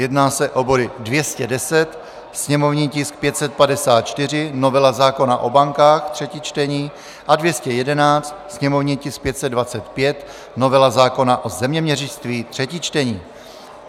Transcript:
Jedná se o body 210, sněmovní tisk 554 - novela zákona o bankách, třetí čtení, a 211, sněmovní tisk 525 - novela zákona o zeměměřictví, třetí čtení.